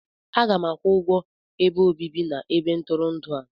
Aga m akwụ ụgwọ ebe obibi na ebe ntụrụndụ a.